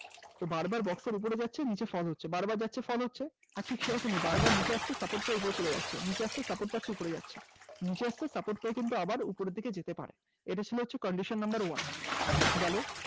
বারবার box এর উপরে যাচ্ছে নিচে fall হচ্ছে বারবার যাচ্ছে fall হচ্ছে ঠিক সেরকমই বারবার নিচে আসছে support পেয়ে ওপরে চলে যাচ্ছে। নিচে আসছে support পেয়ে ওপরে চলে যাচ্ছে। নিচে আসছে support পেয়ে কিন্তু আবার উপরের দিকে যেতে পারছে এটা কি হচ্ছে condition number one । গেল